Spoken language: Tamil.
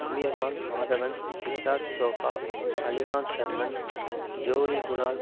அமீர்கான் மாதவன் சித்தார்த் சோகா அலிகான் ஷர்மன் ஜோலி குணால்